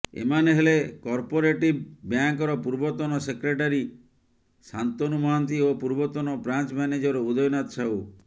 ଏମାନେ ହେଲେ କପୋରେଟିଭ ବ୍ୟାଙ୍କର ପୂର୍ବତନ ସେକ୍ରେଟାରୀ ଶାନ୍ତନୁ ମହାନ୍ତି ଓ ପୂର୍ବତନ ବ୍ରାଞ୍ଚ ମ୍ୟାନେଜର ଉଦୟନାଥ ସାହୁ